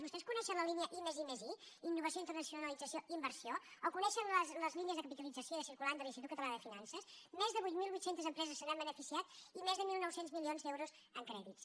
vostès coneixen la línia i+i+i innovació internacionalització i inversió o coneixen les línies de capitalització de circulant de l’institut català de finances més de vuit mil vuit cents empreses se n’han beneficiat i més de mil nou cents milions d’euros en crèdits